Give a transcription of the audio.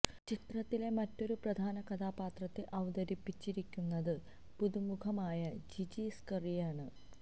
ചിത്രത്തിലെ മറ്റൊരു പ്രധാന കഥാപത്രത്തെ അവതരിപ്പിച്ചിരിക്കുന്നത് പുതു മുഖമായ ജിജി സ്കറിയയാണ്